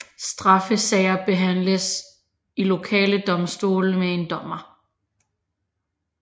Straffesager behandles i lokale domstole med én dommer